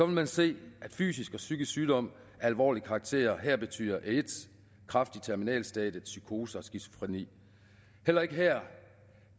man se at fysisk og psykisk sygdom af alvorlig karakter her betyder aids kræft i terminalstadiet psykoser og skizofreni heller ikke her